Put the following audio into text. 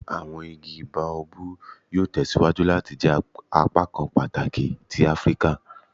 Awọn igi Baobabu yoo tẹsiwaju lati jẹ apakan pataki ti Afirika